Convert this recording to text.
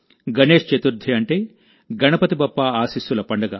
గణేశ్ చతుర్థిఅంటే గణపతి బప్పా ఆశీస్సుల పండుగ